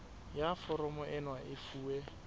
ya foromo ena e fuwe